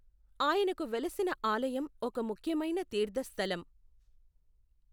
ఆయనకు వెలసిన ఆలయం ఒక ముఖ్యమైన తీర్థస్థలం.